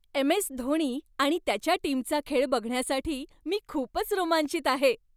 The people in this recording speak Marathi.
एम.एस. धोणी आणि त्याच्या टीमचा खेळ बघण्यासाठी मी खूपच रोमांचित आहे!